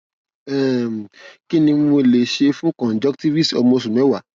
um kí ni mo lè ṣe fún conjunctivitis ọmọ oṣù mẹwàá